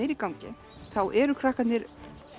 er í gangi þá eru krakkarnir